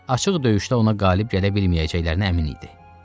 Açıq döyüşdə ona qalib gələ bilməyəcəklərinə əmin idi.